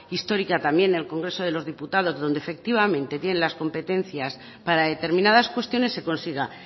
histórica también el congreso de los diputados donde efectivamente tienen las competencias para determinadas cuestiones se consiga